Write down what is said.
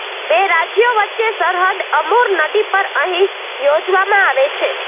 બે રાજ્યો વચ્ચે સરહદ અમુર નદી પર અહીં યોજવામાં આવે છે